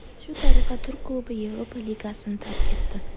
Shu tariqa turk klubi Yevropa ligasini tark etdi.